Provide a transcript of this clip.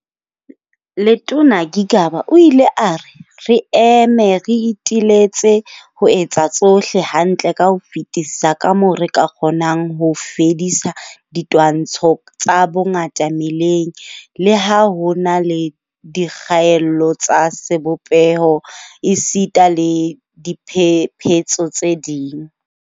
Letona Gigaba o ile a re, "Re eme re iteletse ho etsa tsohle hantle ka ho fetisisa kamoo re ka kgonang ho fedisa ditwantshano tsa bongata meleng, le ha ho na le dikgaello tsa sebopeho esita le diphephetso tse ding."